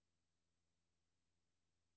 Jeg bor hos min datter.